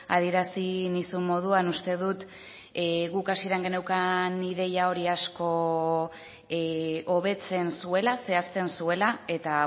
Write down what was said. adierazi nizun moduan uste dut guk hasieran geneukan ideia hori asko hobetzen zuela zehazten zuela eta